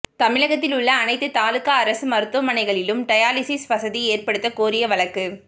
தமிழகத்தில் உள்ள அனைத்து தாலுகா அரசு மருத்துவமனைகளிலும் டயாலிசிஸ் வசதி ஏற்படுத்த கோரிய வழக்கு